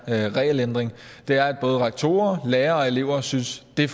her regelændring er at både rektorer lærere og elever synes at det